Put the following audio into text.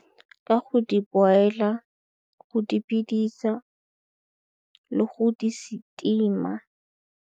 Ka go di-boiler, go di bidisa le go di-steamer.